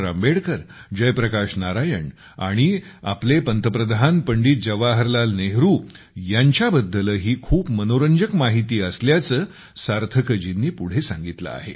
आंबेडकर जय प्रकाश नारायण आणि आपले पंतप्रधान पंडित जवाहरलाल नेहरू यांच्याबद्दलही खूप मनोरंजक माहिती असल्याचे सार्थकजींनी पुढे सांगितले आहे